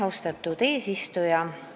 Austatud eesistuja!